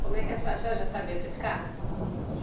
Como é que a senhora, a senhora já sabia pescar?